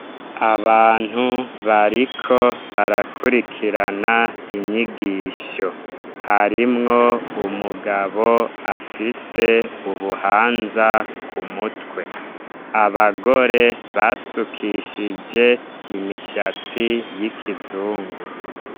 Abantu bariko barakurikirana inyigisho. Harimwo umugabo afise ubuhanza ku mutwe, abagore basukishije imishatsi y'ikizungu.